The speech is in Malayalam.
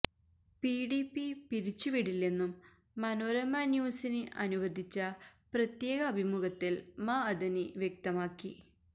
പിഡിപി പിരിച്ചുവിടില്ലെന്നും മനോരമ ന്യൂസിന് അനുവദിച്ച പ്രത്യേക അഭിമുഖത്തിൽ മഅദനി വ്യക്തമാക്കി